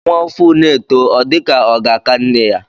Nwa ovù na-eto, ọ dịka ọ ga-aka nne ya.